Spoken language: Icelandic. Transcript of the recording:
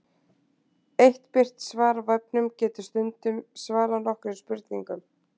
Eitt birt svar á vefnum getur stundum svarað nokkrum spurningum.